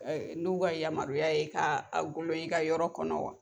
N'u ka yamaruyaya ye ka golo i ka yɔrɔ kɔnɔ wa?